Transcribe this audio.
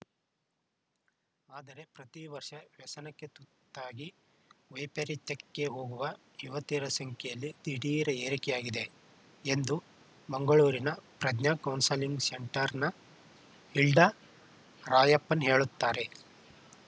ಆದರೆ ಪ್ರತಿ ವರ್ಷ ವ್ಯಸನಕ್ಕೆ ತುತ್ತಾಗಿ ವೈಪರೀತ್ಯಕ್ಕೆ ಹೋಗುವ ಯುವತಿಯರ ಸಂಖ್ಯೆಯಲ್ಲಿ ದಿಢೀರ್‌ ಏರಿಕೆಯಾಗಿದೆ ಎಂದು ಮಂಗಳೂರಿನ ಪ್ರಜ್ಞಾ ಕೌನ್ಸೆಲಿಂಗ್‌ ಸೆಂಟರ್‌ನ ಹಿಲ್ಡಾ ರಾಯಪ್ಪನ್‌ ಹೇಳುತ್ತಾರೆ